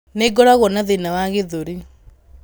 Nĩ ngoragwo na thĩna wa gĩthũri.